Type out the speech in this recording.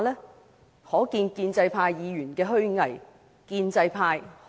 由此可見建制派議員的虛偽。